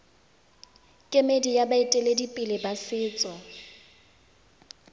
kemedi ya baeteledipele ba setso